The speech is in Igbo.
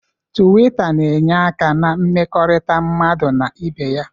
Tuwita na-enye aka na mmekọrịta mmadụ na ibe ya.